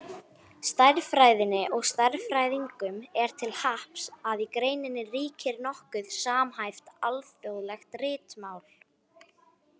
Stærðfræðinni og stærðfræðingum er til happs að í greininni ríkir nokkuð samhæft, alþjóðlegt ritmál.